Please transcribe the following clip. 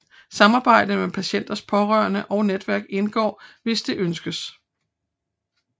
Samarbejde med patientens pårørende og netværk indgår hvis det ønskes